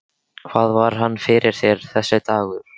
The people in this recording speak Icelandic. Hvað var hann fyrir þér, þessi dagur.